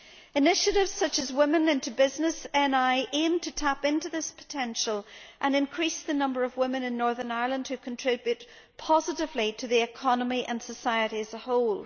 Initiatives such as Women into Business NI aim to tap into this potential and increase the number of women in Northern Ireland who contribute positively to the economy and society as a whole.